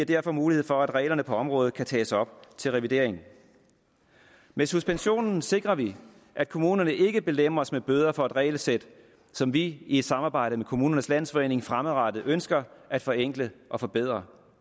derfor mulighed for at reglerne på området kan tages op til revidering med suspensionen sikrer vi at kommunerne ikke belemres med bøder for et regelsæt som vi i et samarbejde med kommunernes landsforening fremadrettet ønsker at forenkle og forbedre